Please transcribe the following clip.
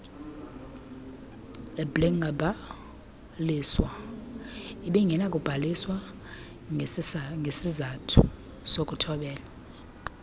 ibingekabhaliswa ngesisathu sokuthobela